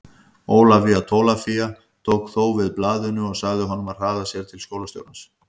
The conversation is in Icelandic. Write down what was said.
Ólafía Tólafía tók þó við blaðinu og sagði honum að hraða sér til skólastjórans.